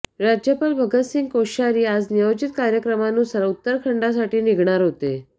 राज्यपाल भगतसिंह कोश्यारी आज नियोजित कार्यक्रमानुसार उत्तराखंडसाठी निघणार होते